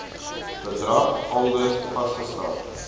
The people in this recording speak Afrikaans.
bedrag aldus vasgestel